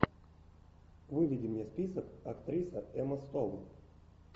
выведи мне список актриса эмма стоун